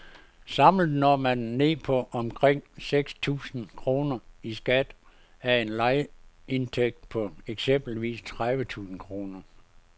Samlet når man ned på omkring seks tusind kroner i skat af en lejeindtægt på eksempelvis tredive tusind kroner.